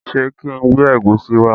Ṣé kí n gbé ẹ̀gúsí wá?